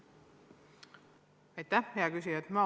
Aitäh, hea küsija!